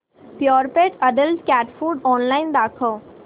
Purepet adult cat food online दाखव